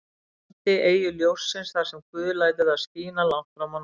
landi, eyju ljóssins, þar sem guð lætur það skína langt fram á nótt.